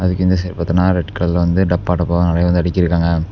அதுக்கு இந்த சைடு பாத்தின ரெட் கலர்ல வந்து டப்பா டப்பாவ நறைய வந்து அடிக்கிருக்காங்க.